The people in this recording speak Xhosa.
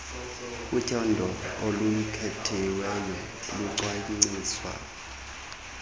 utyando olukhethiweyo lucwangciswa